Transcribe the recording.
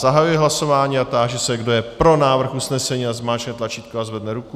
Zahajuji hlasování a táži se, kdo je pro návrh usnesení, ať zmáčkne tlačítko a zvedne ruku.